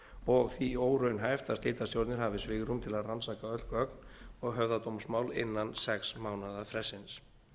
og því óraunhæft að slitastjórnir hafi svigrúm til að rannsaka öll gögn og höfða dómsmál innan sex mánaða frestsins